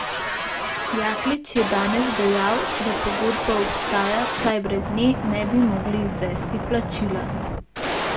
Jaklič je danes dejal, da pogodba obstaja, saj brez nje ne bi mogli izvesti plačila.